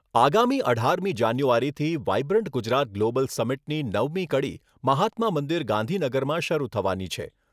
આગામી અઢારમી જાન્યુઆરીથી વાયબ્રન્ટ ગુજરાત ગ્લોબલ સમિટની નવમી કડી મહાત્મા મંદિર, ગાંધીનગરમાં શરૂ થવાની છે.